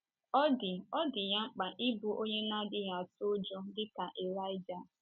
Ọ dị Ọ dị ya mkpa ịbụ onye na - adịghị atụ ụjọ dị ka Ịlaịja.